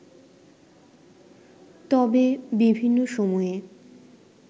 তবে বিভিন্ন সময়ে